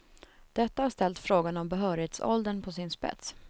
Detta har ställt frågan om behörighetsåldern på sin spets.